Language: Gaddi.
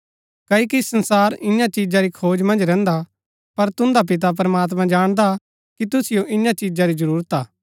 कओकि संसार ईयां चिजा री खोज मन्ज रैहन्दा पर तुन्दा पिता प्रमात्मां जाणदा कि तुसिओ ईयां चिजा री जरूरत हा